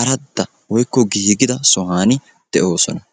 aradda woykko giigida sohuwan de'oosona